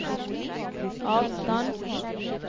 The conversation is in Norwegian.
avstand